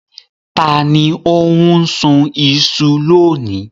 Ta ni ó ń sun iṣu lónìí?